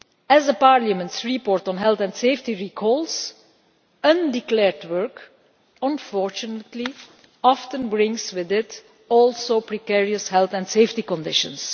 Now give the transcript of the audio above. As Parliament's report on health and safety recalls, undeclared work unfortunately often brings with it also precarious health and safety conditions.